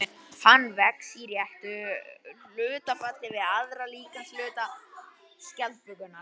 Hann vex í réttu hlutfalli við aðra líkamshluta skjaldbökunnar.